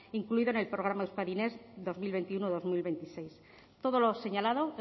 incluida en el programa euskadi next dos mil veintiuno dos mil veintiséis todo lo señalado